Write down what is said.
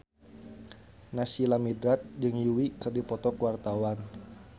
Naysila Mirdad jeung Yui keur dipoto ku wartawan